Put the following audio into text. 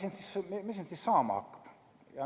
Oodatakse, mis nüüd saama hakkab.